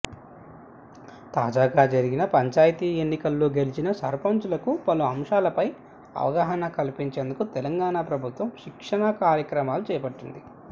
తాజాగా జరిగిన పంచాయితీ ఎన్నికల్లో గెలిచిన సర్పంచులకు పలు అంశాలపై అవగాహన కల్పించేందుకు తెలంగాణ ప్రభుత్వం శిక్షణాకార్యక్రమాలు చేపట్టింది